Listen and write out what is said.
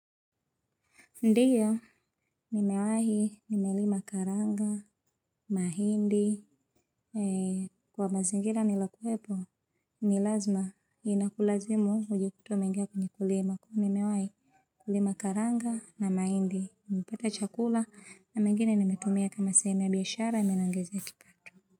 Ndiyo, nimewahi, nimelima karanga, mahindi, kwa mazingira niliokuwepo, ni lazima, inakulazimu unajikuta umengia kwenye kulima. Nimewahi kulima karanga na mahindi, nimepata chakula, na mengine nimetumia kama sehemu ya biashara, imeniongezea kipato.